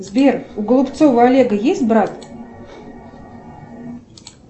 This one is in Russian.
сбер у голубцова олега есть брат